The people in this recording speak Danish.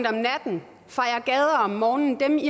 om natten fejer gader om morgenen dem